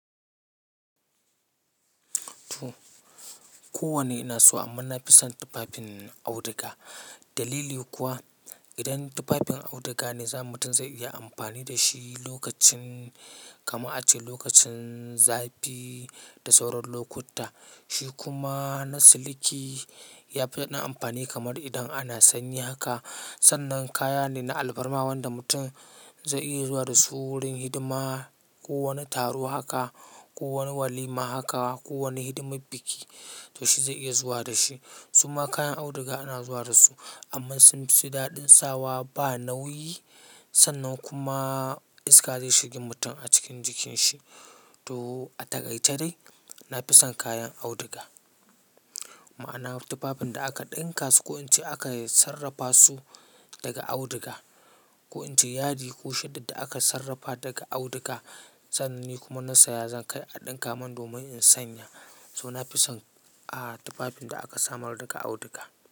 Toh, kowane ina so amma nafi son tufafin auduga. Dalili kuwa idan tufafin auduga ne zamu mutum zai iya amfani da shi lokacin kama a ce lokacin zafi. Da sauran lokuta. Shi kuma na siliki yafi daɗin amfani kamar idan ana sanyi haka. Sannan kaya ne na alfarma wanda mutum zai iya zuwa da su wurin hidima, ko wani taro haka, ko wani walima haka, ko wani hidimar biki to shi zai iya zuwa da shi. Suma kayan auduga ana zuwa da su amma sun fi daɗin sawa ba nauyi. Sannan kuma iska zai shiga mutum a cikin jikinsa. Toh, a takaice dai nafi son kayan auduga. Ma'ana tufafin da aka ɗinka su ko in ce aka sarrafa su daga auduga. Ko in ce yadi ko shudi da aka sarrafa daga auduga. Sananne kuma na saya zan kai a ɗinka mun domin in sanya. To nafi son ah tufafin da aka samar daga auduga.